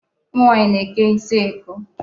Ụmụ nwaanyị na-eke isi eko.